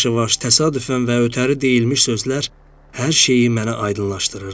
Yavaş-yavaş, təsadüfən və ötəri deyilmiş sözlər hər şeyi mənə aydınlaşdırırdı.